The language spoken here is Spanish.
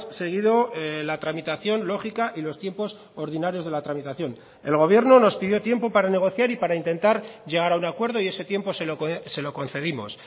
seguido la tramitación lógica y los tiempos ordinarios de la tramitación el gobierno nos pidió tiempo para negociar y para intentar llegar a un acuerdo y ese tiempo se lo concedimos